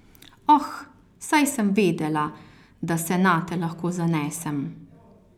Oh, saj sem vedela, da se nate lahko zanesem.